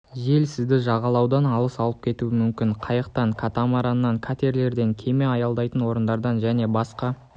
жел сізді жағалаудан алыс алып кетуі мүмкін қайықтан катамараннан катерлерден кеме аялдайтын орындардан және басқа